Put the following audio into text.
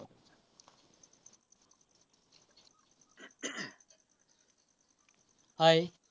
Hi